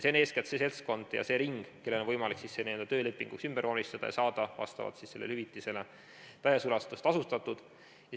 See on eeskätt see seltskond ja see ring, kellel on võimalik leping töölepinguks ümber vormistada ja saada vastavalt sellele hüvitisele täies ulatuses tasustatud.